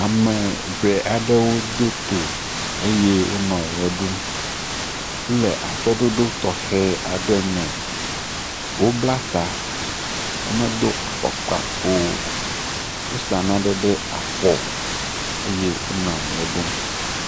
Ame ŋe aɖewo do to eye wonɔ ʋe ɖum. Wole atsɔɖoɖo tɔxɛ aɖe me. Wobla ta womedo afɔkpa o. wosa nane ɖe afɔ eye wonɔ ʋe ɖum.